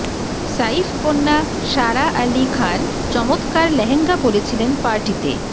সাইফকন্যা সারা আলী খান চমৎকার লেহেঙ্গা পরেছিলেন পার্টিতে